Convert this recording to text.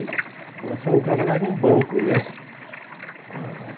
e Mas quando entrava lá era um banco, né? Hum